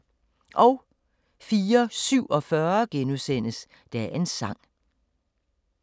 04:47: Dagens Sang *